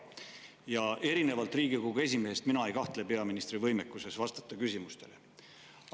Ja erinevalt Riigikogu esimehest mina ei kahtle peaministri võimekuses vastata küsimustele.